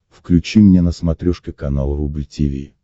включи мне на смотрешке канал рубль ти ви